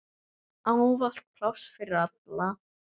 Ávallt pláss fyrir alla.